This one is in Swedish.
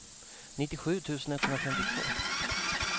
nittiosju tusen etthundrafemtiotvå